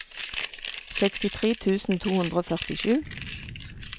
sekstitre tusen to hundre og førtisju